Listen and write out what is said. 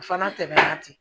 O fana tɛmɛna ten